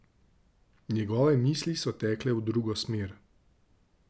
Njegove misli so tekle v drugo smer.